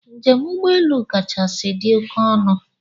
Njem ugbọelu kachasị dị oké ọnụ